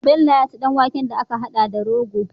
Bello ya ci dan waken da aka hada da rogo